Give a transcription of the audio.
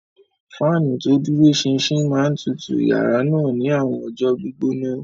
Fáànù tó dúró ṣinṣin máa ń tutù yàrá náà ní àwọn ọjọ́ gbígbóná.